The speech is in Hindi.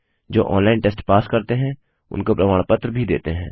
जो ऑनलाइन टेस्ट पास करते हैं उनको प्रमाण पत्र भी देते हैं